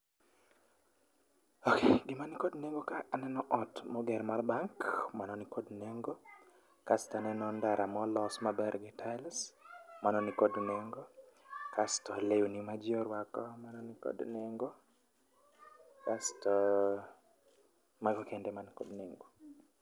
Ok, gima nikod nengo ka aneno ot moger mar bank, mano nikod nengo. Asto aneno ndara molos maber gi tiles, mano nikod nengo, asto lewni ma jii oruako nikod nengo asto, mago kende ema nikod nengo